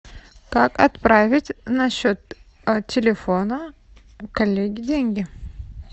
как отправить на счет телефона коллеги деньги